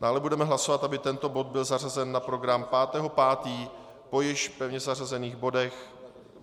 Dále budeme hlasovat, aby tento bod byl zařazen na program 5. 5. po již pevně zařazených bodech.